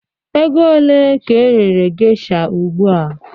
Ego ole ka erere geisha ugbu a?